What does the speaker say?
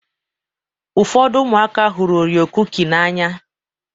Ụfọdụ ụmụaka hụrụ Orio kuki n'anya.